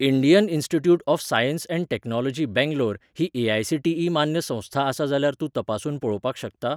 Indian institute of science and technology Bangalore ही AICTE मान्य संस्था आसा जाल्यार तूं तपासून पळोवपाक शकता?